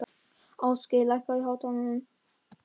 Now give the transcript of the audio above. Ástgeir, lækkaðu í hátalaranum.